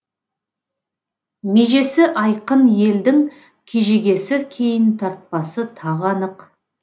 межесі айқын елдің кежегесі кейін тартпасы тағы анық